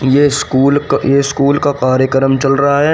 ये स्कूल क ये स्कूल का कार्यक्रम चल रहा है।